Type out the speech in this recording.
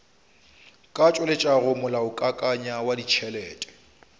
ka tšweletšago molaokakanywa wa ditšhelete